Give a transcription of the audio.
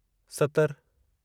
सतरि